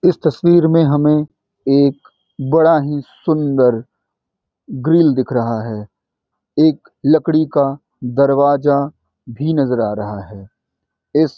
इस तस्वीर में हमें एक बड़ा ही सुंदर ग्रिल दिख रहा है एक लकड़ी का दरवाज़ा भी नज़र आ रहा है।